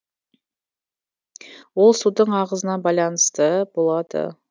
ол судың ағысына байланысты болады